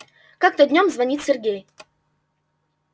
как-то днём звонит сергей